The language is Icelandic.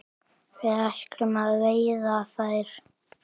Við ætlum að veiða þær